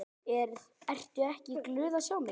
Ertu ekki glöð að sjá mig?